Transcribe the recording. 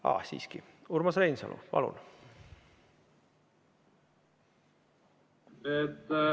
Aga siiski, Urmas Reinsalu, palun!